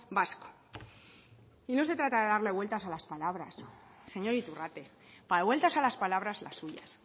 vasco y no se trata de darle vueltas a las palabras señor iturrate para vueltas a las palabras las suyas